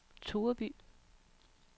Tureby